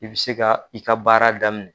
I bɛ se ka i ka baara daminɛ